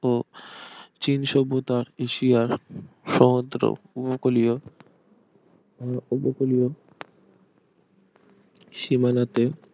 ও চীন সভ্যতা এশিয়ার সমুদ্র উপকুলীয় আহ উপকূলীয় সীমানাতে